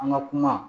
An ka kuma